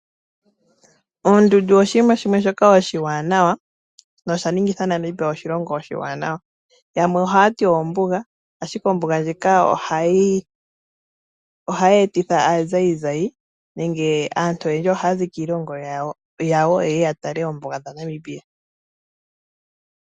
Oondundu oshinima shimwe shoka oshiwanawa nosha ningitha Namibia oshilongo oshiwanawa. Yamwe oha yati ombuga, ashike ombuga ndjika ohayi etitha aazayizayi nenge aantu oyendji ohaya zi kiilongo yawo yeye ya tale oombuga dhaNamibia.